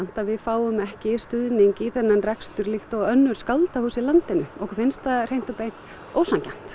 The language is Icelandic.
að við fáum ekki stuðning í þennan rekstur líkt og önnur skáldahús í landinu okkur finnst það hreint og beint ósanngjarnt